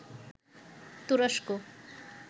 তুরস্ক